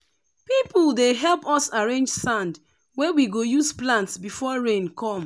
people dey help us arrange sand wey we go use plant before rain come.